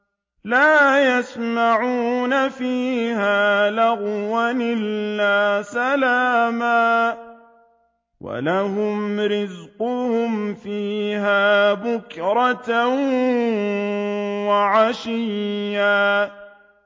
لَّا يَسْمَعُونَ فِيهَا لَغْوًا إِلَّا سَلَامًا ۖ وَلَهُمْ رِزْقُهُمْ فِيهَا بُكْرَةً وَعَشِيًّا